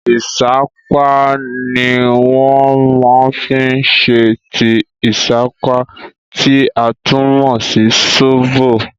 Ìṣápá ni wọ́n máa fi ṣe tíì ìṣápá, tí a tún mọ̀ sí sóbò.